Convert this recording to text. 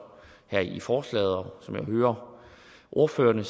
her i forslaget og som jeg hører ordførerne